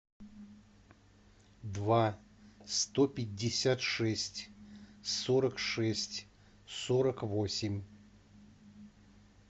два сто пятьдесят шесть сорок шесть сорок восемь